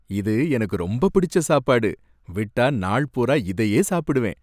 இது எனக்கு ரொம்ப பிடிச்ச சாப்பாடு. விட்டா நாள் பூரா இதையே சாப்பிடுவேன்.